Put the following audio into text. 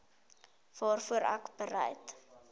waarvoor ek bereid